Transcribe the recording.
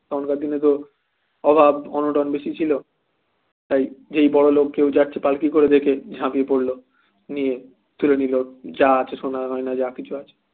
তখনকার দিনে তো অভাব অনটন বেশি ছিল তাই যেই বড়লোক কেউ যাচ্ছে পালকি করে দেখে ঝাঁপিয়ে পড়ল নিয়ে তুলে নিল যা আছে সোনা গয়না যা কিছু আছে